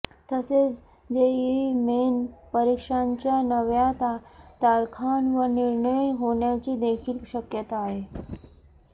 तसेच JEE main परीक्षांच्या नव्या तारखांवर निर्णय होण्याची देखील शक्यता आहे